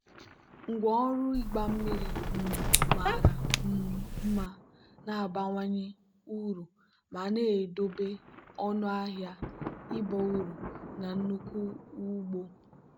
ngwá ọrụ ịgba mmiri um mara um mma na-abawanye uru ma na-edobe ọnụ ahịa ịba uru na nnukwu ugbo.